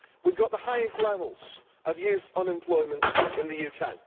We have the highest levels of youth unemployment in the UK.